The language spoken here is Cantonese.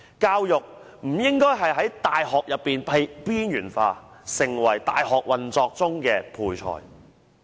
教育不應在大學內被邊緣化，成為大學運作的配菜。